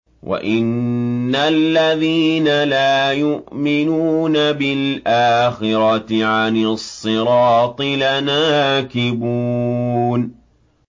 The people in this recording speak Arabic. وَإِنَّ الَّذِينَ لَا يُؤْمِنُونَ بِالْآخِرَةِ عَنِ الصِّرَاطِ لَنَاكِبُونَ